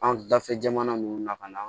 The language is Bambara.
An dafɛ jamana nunnu na ka na